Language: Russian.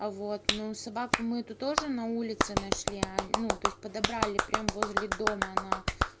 а вот на собаку мы эту тоже на улице нашли а ну то есть подобрали прям возле дома она